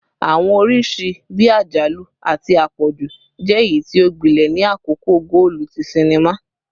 Awọn oriṣi bii ajalu ati apọju jẹ eyiti o gbilẹ ni akoko goolu ti sinima